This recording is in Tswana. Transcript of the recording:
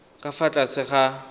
ka fa tlase ga r